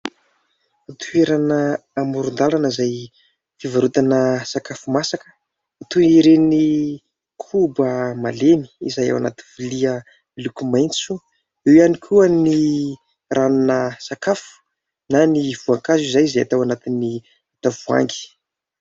Toerana amorondalana izay ivarotana sakafo masaka toy ireny koba malemy izay ao anaty vilia miloko maintso. Eo ihany koa ny ranona sakafo na ny voankazo izany izay atao anatin'ny tavoahangy.